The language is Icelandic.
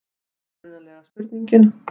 Upprunalega spurningin: